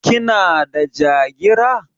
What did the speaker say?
Kina da Jagira?